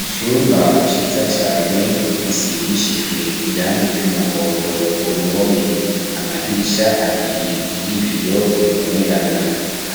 Icumba ciza cane gisigishijwe irangi ry'umuhondo ku ruhome amadirisha abiri y'ibiyo bibonerana